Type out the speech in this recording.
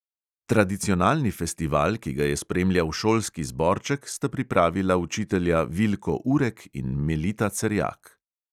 Tradicionalni festival, ki ga je spremljal šolski zborček, sta pripravila učitelja vilko urek in melita cerjak.